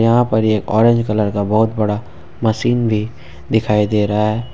यहां पर एक ऑरेंज कलर का बहुत बड़ा मशीन भी दिखाई दे रहा है ।